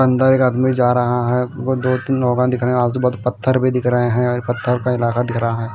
अंदर एक आदमी जा रहा है और दो तीन लोग दिख रहे हैं आजू-बाजू पत्थर भी दिख रहे हैं और एक पत्थर का इलाका दिख रहा है।